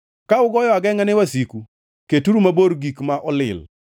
Ka ugoyo agengʼa ne wasiku, keturu mabor gik ma olil.